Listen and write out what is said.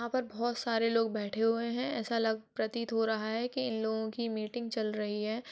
यहां पर बहुत सारे लोग बैठे हुए है ऐसा लग प्रतीत हो रहा है कि इन लोगों की मीटिंग चल रही है।